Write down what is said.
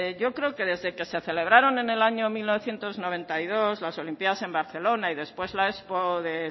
yo creo que desde que se celebraron en el año mil novecientos noventa y dos las olimpiadas en barcelona y después la expo de